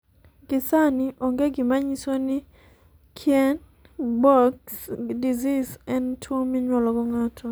Gie sani onge gima nyiso ni Kienbocks disease en tuwo minyuolo.